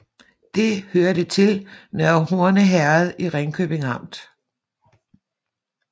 Det hørte til Nørre Horne Herred i Ringkøbing Amt